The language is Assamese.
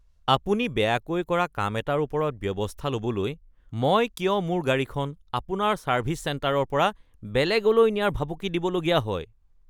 আপুনি বেয়াকৈ কৰা কাম এটাৰ ওপৰত ব্যৱস্থা ল’বলৈ মই কিয় মোৰ গাড়ীখন আপোনাৰ ছাৰ্ভিছ চেণ্টাৰৰ পৰা বেলেগলৈ নিয়াৰ ভাবুকি দিবলগীয়া হয়? (গ্ৰাহক)